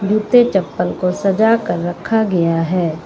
जूते चप्पल को सजा कर रखा गया है।